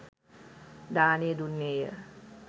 දානය දුන්නේය.